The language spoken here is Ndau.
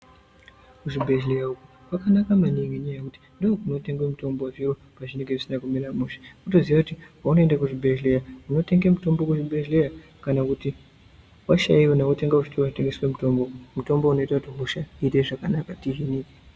Muzvibhedlera uku kwakanaka maningi ngenyaya yekuti ndokunotengwe mitombo zviro pazvinenge zvisina kumira mushe. Wotoziva kuti paunoenda kuchibhedlera unotenge mutombo kuchibhedleya kana kuti washayiwa otenge kuchitoro chinotengese mitombo. Mutombo unoite kuti hosha ite zvakanaka tihine .